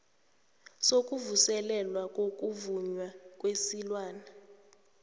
sokuvuselelwa kokuvunywa kwesilwana